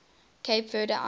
cape verde islands